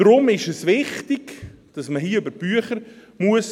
– Deshalb ist es wichtig, dass man hier über die Bücher gehen muss.